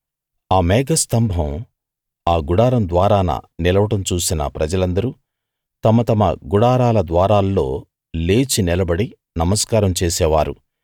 ఆ మేఘస్తంభం ఆ గుడారం ద్వారాన నిలవడం చూసిన ప్రజలందరూ తమ తమ గుడారాల ద్వారాల్లో లేచి నిలబడి నమస్కారం చేసేవారు